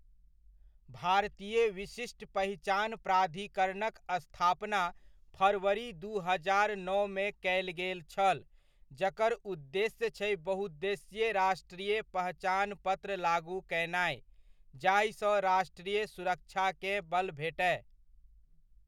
भारतीय विशिष्ट पहचान प्राधिकरणक स्थापना फरवरी दू हजार नओमे कयल गेल छल, जकर उद्देश्य छै बहुउद्देशीय राष्ट्रीय पहचान पत्र लागू कयनाय, जाहिसँ राष्ट्रीय सुरक्षाकेँ बल भेटय।